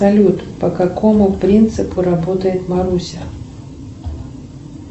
салют по какому принципу работает маруся